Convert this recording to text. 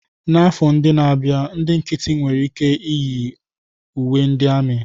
Afọ ndị na-abịa, ndị nkịtị nwere ike yi uwe ndị amị.